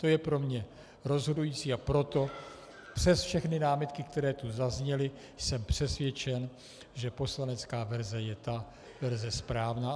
To je pro mě rozhodující, a proto přes všechny námitky, které tu zazněly, jsem přesvědčen, že poslanecká verze je ta verze správná.